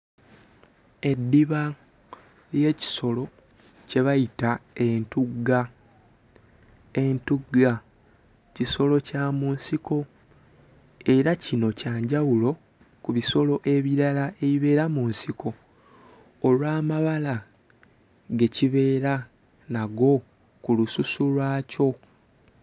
Eddiba ly'ekisolo kye bayita entugga. Entugga kisolo kya mu nsiko era kino kya njawulo ku bisolo ebirala ebibeera mu nsiko olw'amabala ge kibeera nago ku lususu lwakyo.